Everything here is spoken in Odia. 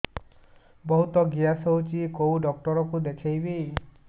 ବହୁତ ଗ୍ୟାସ ହଉଛି କୋଉ ଡକ୍ଟର କୁ ଦେଖେଇବି